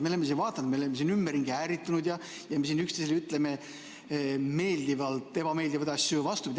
Me oleme siin ümberringi ärritunud ja me ütleme siin üksteisele meeldivalt ebameeldivaid asju ja vastupidi.